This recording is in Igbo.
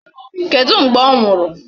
Kedụ mgbe ọ nwụrụ?